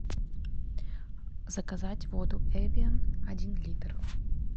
заказать воду эвиан один литр